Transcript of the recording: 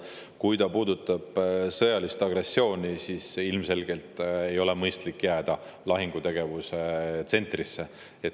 Kui see puudutab sõjalist agressiooni, siis ilmselgelt ei ole mõistlik jääda lahingutegevuse tsentrisse.